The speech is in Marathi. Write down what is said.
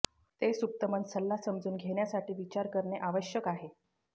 ते सुप्त मन सल्ला समजून घेण्यासाठी विचार करणे आवश्यक आहे